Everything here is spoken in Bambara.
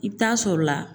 I bɛ taa sɔrɔ la